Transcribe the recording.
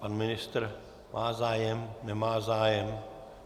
Pan ministr má zájem, nemá zájem?